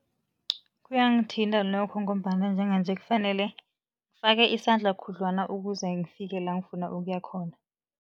Kuyangithinta nokho ngombana njenganje kufanele ngifake isandla khudlwana ukuze ngifike la ngifuna ukuya khona.